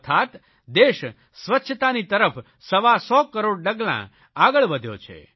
અર્થાત્ દેશ સ્વચ્છતાની તરફ સવાસો કરોડ ડગલાં આગળ વધ્યો છે